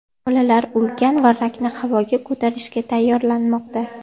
Bolalar ulkan varrakni havoga ko‘tarishga tayyorlanmoqda.